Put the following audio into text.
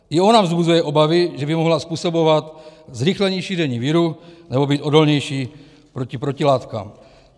I ona vzbuzuje obavy, že by mohla způsobovat zrychlení šíření viru nebo být odolnější proti protilátkám.